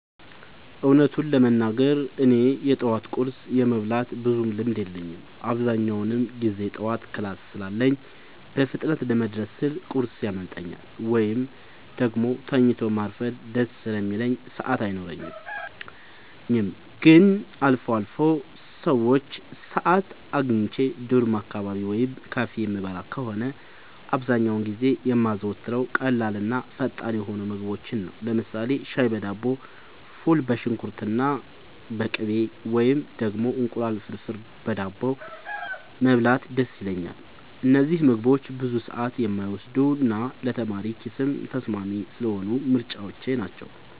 እውነቱን ለመናገር እኔ የጠዋት ቁርስ የመብላት ብዙም ልምድ የለኝም። አብዛኛውን ጊዜ ጠዋት ክላስ ስላለኝ በፍጥነት ለመድረስ ስል ቁርስ ያመልጠኛል፤ ወይም ደግሞ ተኝቶ ማርፈድ ደስ ስለሚለኝ ሰዓት አይኖረኝም። ግን አልፎ አልፎ ሰዓት አግኝቼ ዶርም አካባቢ ወይም ካፌ የምበላ ከሆነ፣ አብዛኛውን ጊዜ የማዘወትረው ቀላልና ፈጣን የሆኑ ምግቦችን ነው። ለምሳሌ ሻይ በዳቦ፣ ፉል በሽንኩርትና በቅቤ፣ ወይም ደግሞ እንቁላል ፍርፍር በዳቦ መብላት ደስ ይለኛል። እነዚህ ምግቦች ብዙ ሰዓት የማይወስዱና ለተማሪ ኪስም ተስማሚ ስለሆኑ ምርጫዎቼ ናቸው።